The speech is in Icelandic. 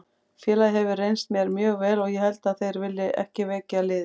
Félagið hefur reynst mér mjög vel og ég held að þeir vilji ekki veikja liðið.